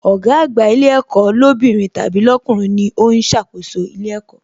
Ọ̀gá àgbà ilé ẹ̀kọ́ lóbìnrin tàbí lọkunrin ni ó ń ṣàkóso ilé ẹ̀kọ́